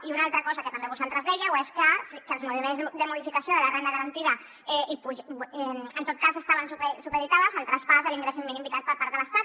i una altra cosa que també vosaltres dèieu és que els moviments de modificació de la renda garantida en tot cas estaven supeditats al traspàs de l’ingrés mínim vital per part de l’estat